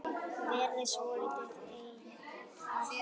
Verið svolítið einn á ferð?